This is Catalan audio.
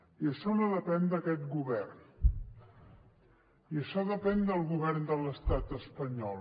i això no depèn d’aquest govern això depèn del govern de l’estat espanyol